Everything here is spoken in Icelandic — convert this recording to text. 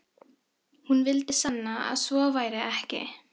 Hún vildi sanna að svo væri ekki.